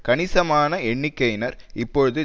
கணிசமான எண்ணிக்கையினர் இப்பொழுது